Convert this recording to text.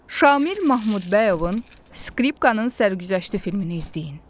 Şamil Mahmudbəyovun Skripkanın sərgüzəşti filmini izləyin.